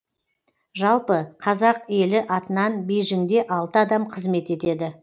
жалпы қазақ елі атынан бейжіңде алты адам қызмет етеді